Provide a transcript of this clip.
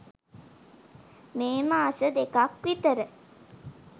මේ මාස දෙකක් විතර